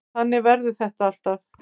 Þannig verður þetta alltaf.